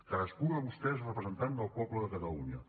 cadascú de vostè representant del poble de catalunya